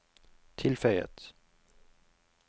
tilføyet